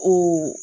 O